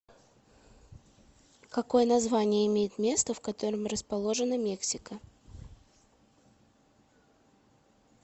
какое название имеет место в котором расположена мексика